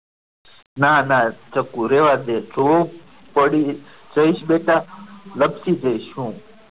ના ના ચકુ રહેવા દે તું પડીશ જયેશ બેટા લપસી જઈશ હું.